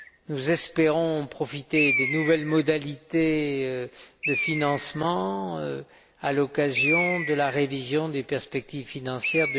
Nous espérons profiter des nouvelles modalités de financement à l'occasion de la révision des perspectives financières